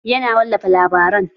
Yana wallafa labaran